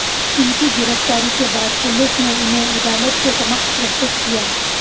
इनकी गिरफ्तारी के बाद पुलिस ने इन्हे अदालत के समक्ष प्रस्तुत किया